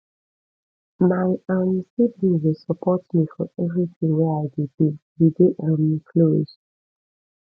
my um siblings dey support me for everytin wey i dey do we dey um close